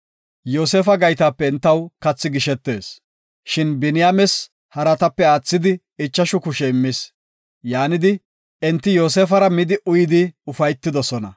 Yoosefa gaytape entaw qumi gishetees, shin Biniyaames haratape aathidi ichashu kushe immis. Yaanidi, enti Yoosefara midi uyidi ufaytidosona.